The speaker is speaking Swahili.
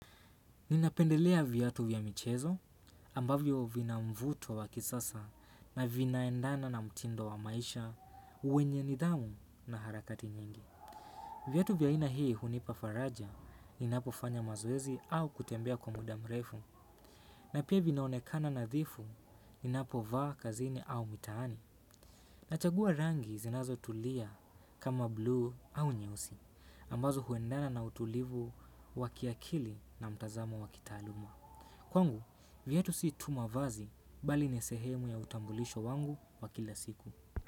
Ninapendelea viatu vya michezo ambavyo vina mvuto wa kisasa na vinaendana na mtindo wa maisha wenye nidhamu na harakati nyingi. Viatu vya aina hii hunipa faraja ninapo fanya mazoezi au kutembea kwa muda mrefu. Na pia vinaonekana nadhifu ninapo vaa kazini au mitaani. Nachagua rangi zinazo tulia kama blue au nyeusi ambazo huendana na utulivu wa kiakili na mtazamo wa kitaaluma. Kwangu, viatu si tu mavazi bali ni sehemu ya utambulisho wangu wa kila siku.